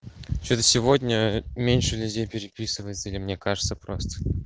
что-то сегодня меньше людей переписывается или мне кажется просто